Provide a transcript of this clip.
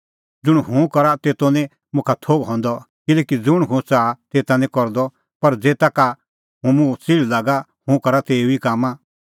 ज़ुंण हुंह करा तेतो निं मुखा थोघ हंदअ किल्हैकि ज़ुंण हुंह च़ाहा तेता निं करदअ पर ज़ेता का मुंह च़िल़्ह लागा हुंह करा तेऊ ई कामां